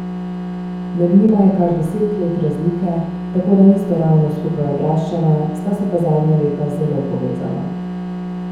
Med njima je kar deset let razlike, tako da nista ravno skupaj odraščala, sta se pa zadnja leta zelo povezala.